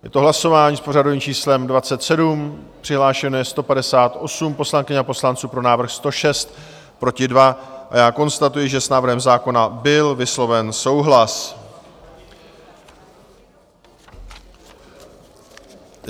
Je to hlasování s pořadovým číslem 27, přihlášeno je 158 poslankyň a poslanců, pro návrh 106, proti 2 a já konstatuji, že s návrhem zákona byl vysloven souhlas.